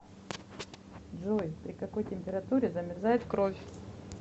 джой при какой температуре замерзает кровь